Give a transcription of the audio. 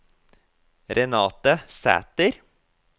Renate Sæter